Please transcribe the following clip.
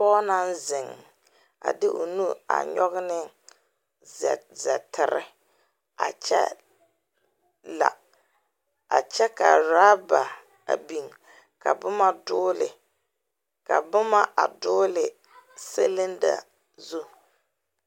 Pɔge naŋ ziŋ a de o nu a nyɔge ne zɛ zɛteri a kyɛ la a kyɛ ka raaba a biŋ ka boma dooli ka boma a dooli silinda zu.